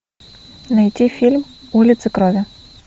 найти фильм улица крови